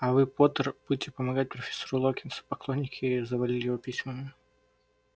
а вы поттер будете помогать профессору локонсу поклонники завалили его письмами